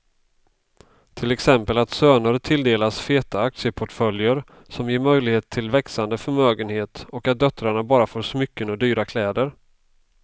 Till exempel att söner tilldelas feta aktieportföljer som ger möjlighet till växande förmögenhet och att döttrarna bara får smycken och dyra kläder.